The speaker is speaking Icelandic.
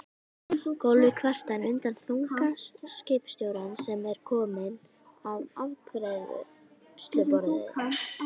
Gólfið kvartar undan þunga skipstjórans sem er kominn að afgreiðsluborð